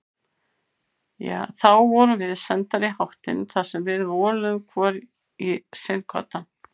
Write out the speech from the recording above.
Þá vorum við sendar í háttinn þar sem við voluðum hvor í sinn koddann.